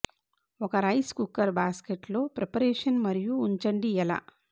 ఒక rice cooker basket లో preparation మరియు ఉంచండి ఎలా